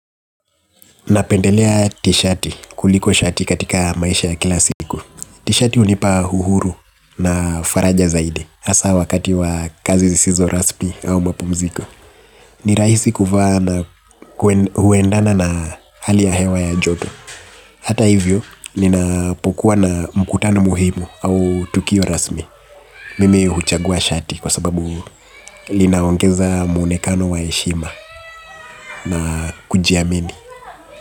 Napendelea ti shati kuliko shati katika maisha ya kila siku. Ti shati hunipa uhuru na faraja zaidi hasa wakati wa kazi zisizo rasmi au mapumziko. Ni rahisi kuvaa na huendana na hali ya hewa ya joto. Hata hivyo, ninapokuwa na mkutano muhimu au tukio rasmi. Mimi huchagua shati kwa sababu linaongeza muonekano wa heshima na kujiamini.